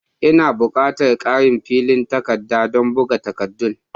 Ina bukatan ƙarin flen takardadon buga takaddun.